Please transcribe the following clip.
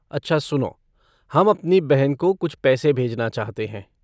अच्छा सुनो, हम अपनी बहन को कुछ पैसे भेजना चाहते हैं।